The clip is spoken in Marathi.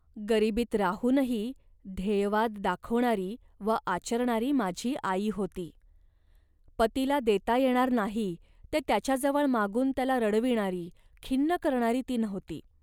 गरिबीत राहूनही ध्येयवाद दाखवणारी व आचरणारी माझी आई होती. पतीला देता येणार नाही, ते त्याच्याजवळ मागून त्याला रडविणारी, खिन्न करणारी ती नव्हती